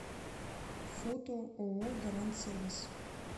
фото ооо гарант сервис